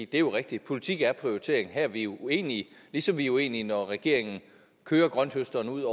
det er jo rigtigt at politik er prioritering og her er vi uenige ligesom vi er uenige når regeringen kører grønthøsteren ud